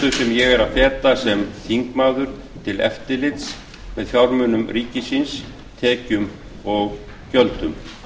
ég er að feta sem þingmaður til eftirlits með fjármunum ríkisins tekjum og gjöldum